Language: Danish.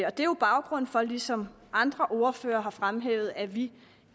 og det er jo baggrunden for ligesom andre ordførere har fremhævet at vi